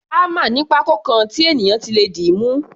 Hámà ní pákó kan tí ènìyàn ti lè dìímú.